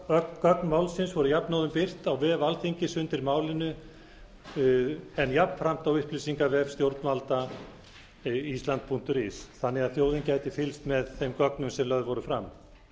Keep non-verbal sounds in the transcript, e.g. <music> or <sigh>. öll gögn málsins voru jafnóðum birt á vef alþingis undir málinu þar en jafnframt á upplýsingavef stjórnvalda <unintelligible> punktur is þannig að þjóðin gæti fylgst með þeim gögnum sem lögð voru fram